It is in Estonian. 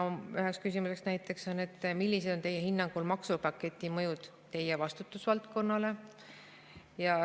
Üheks küsimuseks näiteks on, millised on tema hinnangul maksupaketi mõjud tema vastutusvaldkonnale.